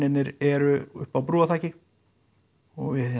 eru uppi á brúarþaki og við